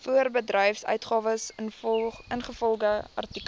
voorbedryfsuitgawes ingevolge artikel